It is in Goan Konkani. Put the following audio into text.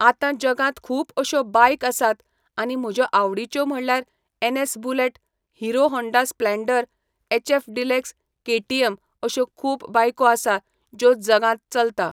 आतां जगांत खूब अश्यो बायक आसात आनी म्हज्यो आवडीच्यो म्हणल्यार NS bullet Hero Honda Splendor HF Deluxe KTM अश्यो खूब बायको आसा ज्यो जगांत चलता.